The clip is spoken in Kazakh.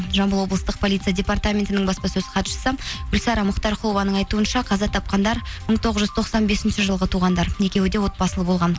жамбыл облыстық полиция департаментінің баспасөз хатшысы гүлсара мұхтарқұлованың айтуынша қаза тапқандар мың тоғыз жүз тоқсан бесінші жылғы туғандар екеуі де отбасылы болған